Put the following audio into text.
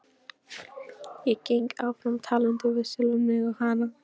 Ég geng áfram, talandi við sjálfan mig og hana.